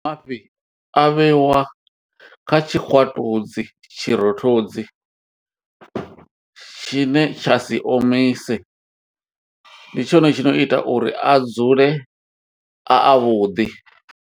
Mafhi a vheiwa kha tshikwatudzi tshirothodzi tshine tsha si omise, ndi tshone tshi no ita uri a dzule a avhuḓi.